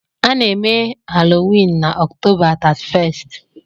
A na-eme Halloween na October 31st.